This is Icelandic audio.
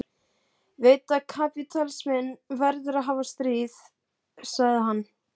Ég veit að kapítalisminn verður að hafa stríð, sagði hann.